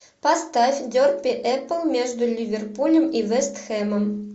поставь дерби апл между ливерпулем и вест хэмом